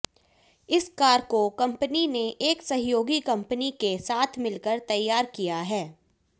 इस कार को कंपनी ने एक सहयोगी कंपनी के साथ मिलकर तैयार किया है